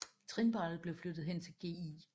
Trinbrættet blev flyttet hen til Gl